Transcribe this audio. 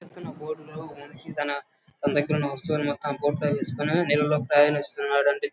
ఇక్కడ చూపిస్తున్నబోట్ లో మనిషి తన దగ్గర ఉన్న వస్తువులన్నీ బోట్ లో వేసుకుని నీళ్లల్లో ప్రయాణిస్తున్నాడు.